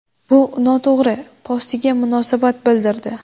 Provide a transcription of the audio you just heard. Bu noto‘g‘ri!” postiga munosabat bildirdi .